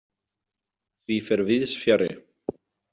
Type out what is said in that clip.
Því fer víðs fjarri.